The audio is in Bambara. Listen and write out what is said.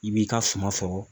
I b'i ka suma sɔrɔ